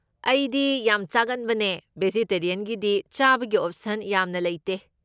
ꯑꯩꯗꯤ ꯌꯥꯝ ꯆꯥꯒꯟꯕꯅꯦ, ꯕꯦꯖꯤꯇꯦꯔꯤꯌꯟꯒꯤꯗꯤ ꯆꯥꯕꯒꯤ ꯑꯣꯞꯁꯟ ꯌꯥꯝꯅ ꯂꯩꯇꯦ꯫